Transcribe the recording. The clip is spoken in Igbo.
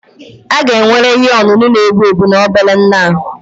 a ga-ewere ihe ọṅụṅụ na-egbu egbu na obere nha